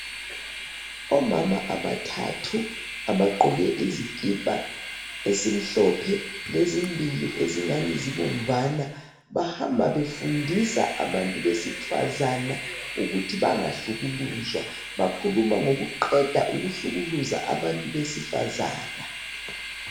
Omama abathathu. Abagqoke izikipa, ezimhlophe. Lezimbili, ezingani zibomvana. Bahamba befundisa abantu besifazana, ukuthi bangahlukuluzwa. Bakhuluma ngokuqeda ukuhlukuluza abantu besifazana.